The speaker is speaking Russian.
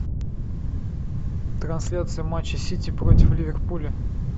трансляция матча сити против ливерпуля